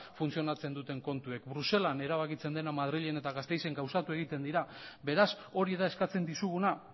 funtzionatzen duten kontuek bruselan erabakitzen dena madrilen eta gasteizen gauzatu egiten dira beraz hori da eskatzen dizuguna